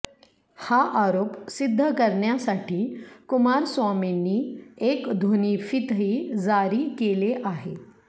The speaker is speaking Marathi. हा आरोप सिद्ध करण्यासाठी कुमारस्वामींनी एक ध्वनीफीतही जारी केली आहे